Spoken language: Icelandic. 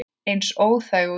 Eins óþæg og ég?